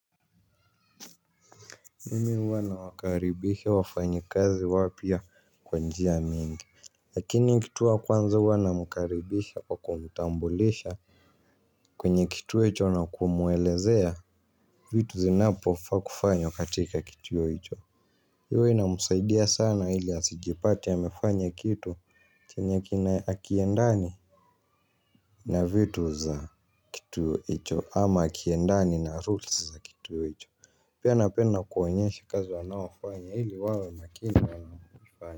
Mimi huwa nawakaribisha wafanyi kazi wapya kwa njia mingi. Lakini kitu ya kwanza huwa nawakaribisha kwa kumtambulisha. Kwenye kituo hicho na kumuelezea vitu zinapofaa kufanywa katika kituo hicho. Hiyo inamsaidia sana ili asijipate amefanya kitu chenye hakiendani. Na vitu za kituo hicho ama hakiendani na rules za kituo hicho. Pia napenda kuwaonyesha kazi wanayofanya ili wawe makini wakifanya.